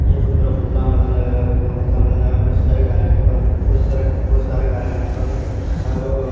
ये बहोत बड़ा खुला मैदान लग रहा है बहुत बड़ा खुला मैदान है। बहोत सारी गाड़ियां है यहां पर बहोत सारी गाड़ियां है यहां पर हर--